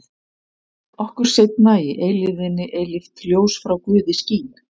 Okkur seinna í eilífðinni eilíft ljós frá Guði skín.